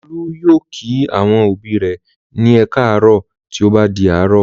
Olú yóò kí àwọn òbí rẹ̀ ní "ẹ káàárọ̀" tí ó bá di àárọ̀.